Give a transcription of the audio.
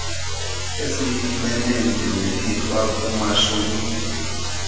esiyifumene njengelifa kumashumi